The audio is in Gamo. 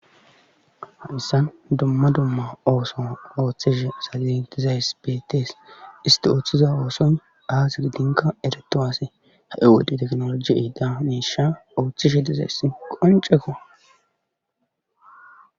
hayssan dumma dumma ooso ooththeshe salidizays betees isti ooththiza ooson daasi gidinka ereto ase ha7ewodhi teknoloji iida neesha ooththishe dizays qonceko